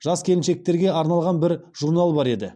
жас келіншектерге арналған бір журнал бар еді